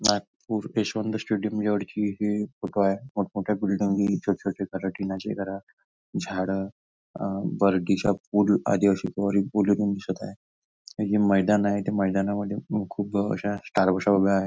Nagpur Yashwant stadium जवळची हि photo आहे मोठमोठ्या बिल्डिंगी नि छोटछोटे घर टिनाचे घर झाडं अ बर्डीचा पूल आदिवासी दिसत आहे आणि हे मैदान आहे आणि त्या मैदानामध्ये हे खूप अश्या उभ्या आहे.